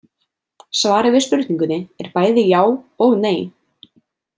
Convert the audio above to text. Svarið við spurningunni er bæði já og nei.